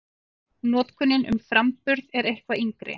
Notkunin um framburð er eitthvað yngri.